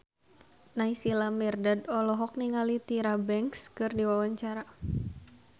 Naysila Mirdad olohok ningali Tyra Banks keur diwawancara